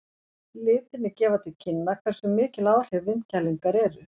Litirnir gefa til kynna hversu mikil áhrif vindkælingar eru.